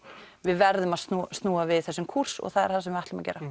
við verðum að snúa snúa við þessum kúrs og það er það sem við ætlum að gera